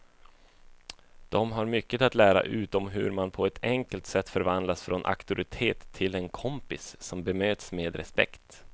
De har mycket att lära ut om hur man på ett enkelt sätt förvandlas från auktoritet till en kompis som bemöts med respekt.